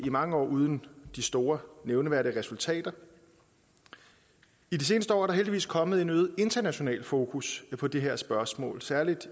mange år uden de store nævneværdige resultater i de seneste år er der heldigvis kommet en øget international fokus på det her spørgsmål særlig